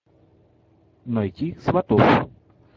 найти сватов